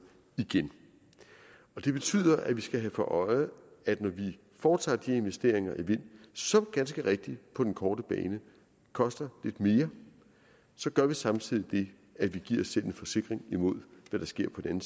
igen det betyder at vi skal have for øje at når vi foretager de investeringer i vind som ganske rigtigt på den korte bane koster lidt mere gør vi samtidig det at vi giver os selv en forsikring imod hvad der sker på den